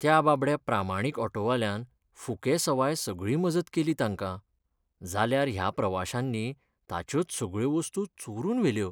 त्या बाबड्या प्रामाणीक ऑटोवाल्यान फुकेसवाय सगळी मजत केली तांकां, जाल्यार ह्या प्रवाशांनी ताच्योच सगळ्यो वस्तू चोरून व्हेल्यो.